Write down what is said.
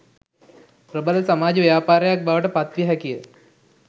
ප්‍රබල සමාජ ව්‍යාපාරයක් බවට පත් විය හැකිය